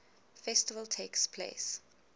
festival takes place